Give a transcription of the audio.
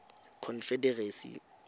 confederacy